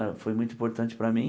Eh foi muito importante para mim.